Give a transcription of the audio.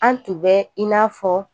An tun bɛ i n'a fɔ